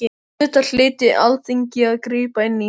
Auðvitað hlyti Alþingi að grípa inn í.